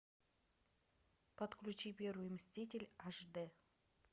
подключи первый мститель аш дэ